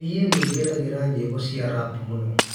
nie ningenagira nyĩmbo cĩa rap muno